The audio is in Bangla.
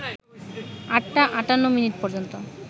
৮টা ৫৮ মিনিট পর্যন্ত